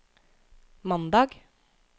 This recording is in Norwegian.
mandag